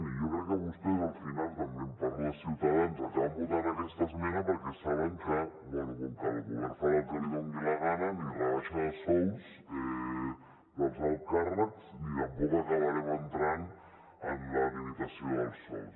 i jo crec que vostès al final també parlo de ciutadans acaben votant aquesta esmena perquè saben que bé com que el govern farà el que li doni la gana ni rebaixa de sous dels alts càrrecs ni tampoc acabarem entrant en la limitació dels sous